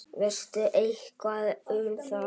Veistu eitthvað um það?